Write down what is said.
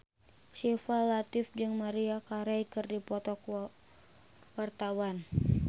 Syifa Latief jeung Maria Carey keur dipoto ku wartawan